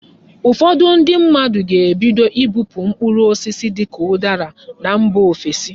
Ụfọdụ ndị mmadụ ga-ebido ibupu mkpụrụ osisi dịka ụdara na mba ofesi.